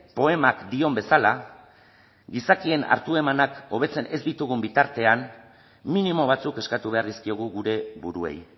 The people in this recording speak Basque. poemak dion bezala gizakien hartu emanak hobetzen ez ditugun bitartean minimo batzuk eskatu behar dizkiogu gure buruei